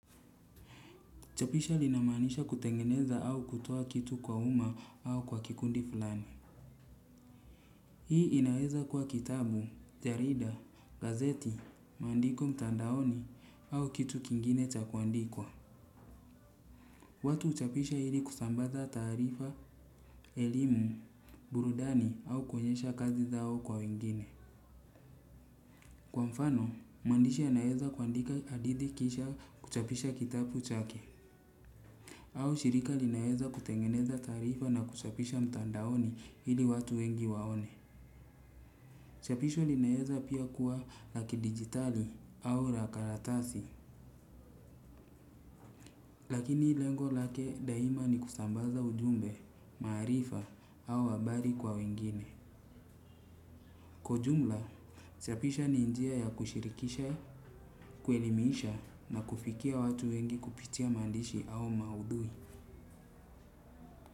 Chapisha linamaanisha kutengeneza au kutoa kitu kwa umma au kwa kikundi fulani. Hii inaweza kwa kitabu, jarida, gazeti, maandiko mtandaoni au kitu kingine cha kuandikwa. Watu huchapisha ili kusambaza taarifa, elimu, burudani au kuonyesha kazi zao kwa wengine. Kwa mfano, mwandishi anaweza kuandika hadithi kisha kuchapisha kitabu chake. Au shirika linaweza kutengeneza taarifa na kuchapisha mtandaoni ili watu wengi waone. Chapisho linaweza pia kuwa la kidigitali au ra karatasi. Lakini lengo lake daima ni kusambaza ujumbe, maarifa au habari kwa wengine. Kwa ujumla, chapisha ni njia ya kushirikisha, kuelimiisha na kufikia watu wengi kupitia maandishi au maudhui.